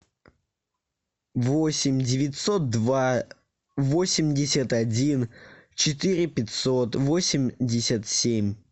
восемь девятьсот два восемьдесят один четыре пятьсот восемьдесят семь